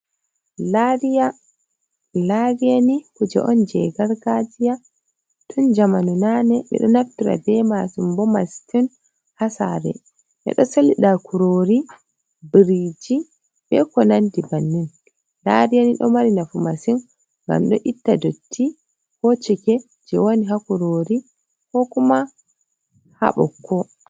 Lariyani kuje on jegar gajiya ,tun jamanunane be do naftira be masum ,bomas tun hasare be do salida kurori biriji be ko nan dibannin ,lariyani do mari nafu masin gam do itta dotti ko cike je wani ha kurori ko kuma habokko.